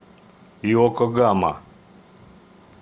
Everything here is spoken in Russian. иокогама